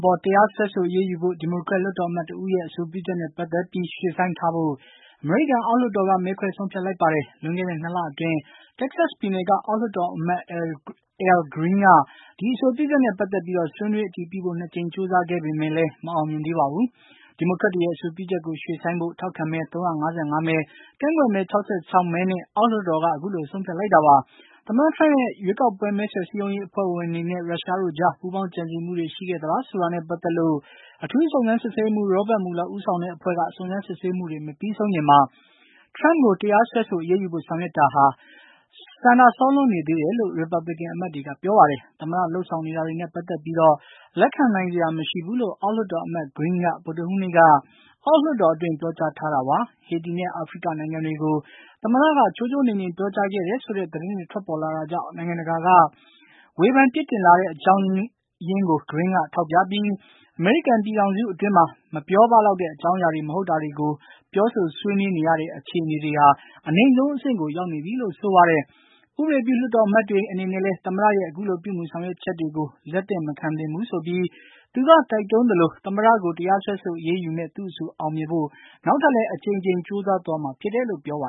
ပေါ် တရားစွဲဆိုအရေးယူဖို့ ဒီမိုကရက် လွှတ်တော်အမတ်တဦးရဲ့ အဆိုပြုချက်နဲ့ ပတ်သတ်ပြီး ရွှေ့ဆိုင်းထားဖို့ အမေရိကန်အောက်လွှတ်တော်က မဲခွဲဆုံးဖြတ်လိုက်ပါတယ်။ လွန်ခဲ့တဲ့ ၂ လအတွင်း တက္ကဆပ်ပြည်နယ်က အောက်လွှတ်တော်အမှတ် Al Green က ဒီအဆိုပြုချက်နဲ့ ပတ်သက်ပြီး ဆွေးနွေးအတည်ပြုဖို့ ၂ ကြိမ် ကြိုးစားခဲ့ပေမယ့် မအောင်မြင်သေးပါဘူး။ ဒီမိုကရက်တွေရဲ့ အဆိုပြုချက်ကို ရွှေ့ဆိုင်းဖို့ ထောက်ခံမဲ ၃၅၅ မဲ၊ ကန့်ကွက်မဲ ၆၆ မဲနဲ့ အောက်လွှတ်တော်က အခုလို ဆုံးဖြတ်လိုက်တာပါ။ သမ္မတ ထရမ့်ရဲ့ ရွေးကောက်ပွဲမဲဆွယ်စည်းရုံးရေးအဖွဲ့ဝင်တွေနဲ့ ရုရှားတို့ကြား ပူးပေါင်းကြံစည်မှုတွေ ရှိခဲ့သလားဆိုတာနဲ့ ပတ်သက်လို့ အထူးစုံစမ်းစစ်ဆေးရေးမှူး Robert Mueller ဦးဆောင်တဲ့အဖွဲ့က စုံစမ်းစစ်ဆေးမှုတွေ မပြီးဆုံးခင်မှာ ထရမ့်ကို တရားစွဲဆိုအရေးယူဖို့ ဆောင်ရွက်တာဟာ ဆန္ဒစောလွန်းနေတယ်လို့ ရီပတ်ဘလစ်ကန်အမတ်တွေက ပြောပါတယ်။ သမ္မတလုပ်ေဆောင်နေတာတွေနဲ့ ပတ်သက်ပြိး လက်ခံနိုင်စရာမရှိဘူးလို့ အောက်လွှတ်တော်အမတ် Green က ဗုဒ္ဓဟူးနေ့က အောက်လွှတ်တော်အတွင်း ပြောကြားခဲ့ပါတယ်။ ဟေတီနဲ့ အာဖရိကနိုင်ငံတွေကို သမ္မတက ချိုးချိုးနှိမ်နှိမ် ပြောကြားခဲ့တယ်ဆိုတဲ့ သတင်းတွေ ထွက်ပေါ်လာတာကြောင့် နိုင်ငံတကာက ဝေဖန်ပစ်တင်လာတဲ့အကြောင်းကို ဂရင်းက ထောက်ပြပြီး အမေရိကန်ပြည်ထောင်စုအတွင်း ပြောပလောက်တဲ့ အကြောင်းအရာတွေမဟုတ်တာတွေကို ပြောဆိုဆွေးနွေးနေရတဲ့ အခြေအနေ အနိမ့်ဆုံးအဆင့်ကို ရောက်နေပြီလို့ ဆိုပါတယ်။ ဥပဒေပြုလွှတ်တော်အမတ်တွေအနေနဲ့လည်း သမ္မတရဲ့ အခုလို ပြုမူဆောင်ရွက်ချက်တွေကို လက်မခံသင့်ဘူးဆိုပြီး သူက တိုက်တွန်းသလို သမ္မတကို တရားစွဲဆို အရေးယူမယ့် သူ့အဆို အောင်မြင်ဖို့ နောက်ထပ်လည်း အကြိမ်ကြိမ်ဆောင်ရွက်မှာဖြစ်တယ်လို့ သူက ပြောပါ